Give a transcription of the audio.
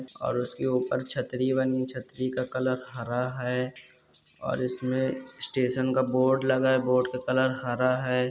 और उसके ऊपर छतरी बनी है छतरी का कलर हरा है और इसमे स्टेशन का बोर्ड लगा है बोर्ड का कलर हरा है।